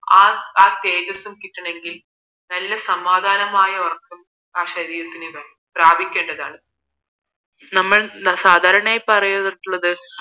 ആ തേജസ്സും കിട്ടണമെങ്കിൽ നല്ല സമാധാനമായ ഉറക്കം ആ ശരീരത്തിന് പ്രാബിക്കേണ്ടതാണ് നമ്മൾ സാധാരണയായി പറയാറുള്ളത്